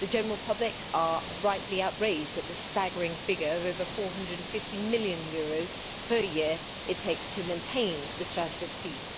The general public are rightly outraged at the staggering figure of over EUR 450 million per year it takes to maintain the Strasbourg seat.